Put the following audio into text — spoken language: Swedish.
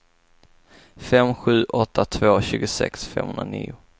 fem sju åtta två tjugosex femhundranio